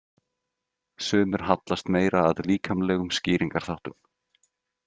Sumir hallast meira að líkamlegum skýringarþáttum.